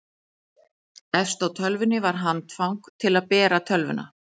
efst á tölvunni var handfang til að bera tölvuna